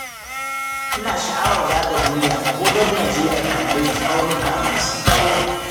Ina sha'awar zaga duniya ko don na je na kalli tsaunuka masu tsaho